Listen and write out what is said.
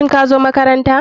Shin kazo makaranta.